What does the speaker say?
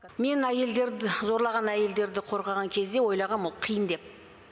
мен әйелдерді зорлаған әйелдерді қорғаған кезде ойлағам ол қиын деп